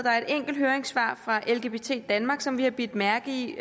er et enkelt høringssvar fra lgbt danmark som vi har bidt mærke i